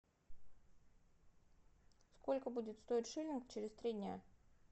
сколько будет стоить шиллинг через три дня